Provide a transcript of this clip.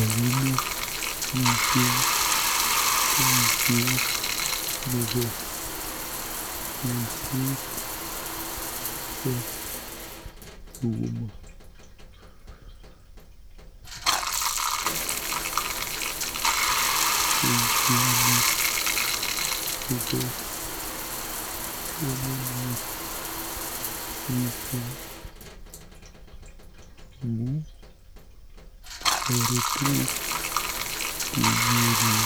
Ochome mising boisiet nebo kolset nebo sukuma. Boisioni kobo komonut mising amu toretech kenyooru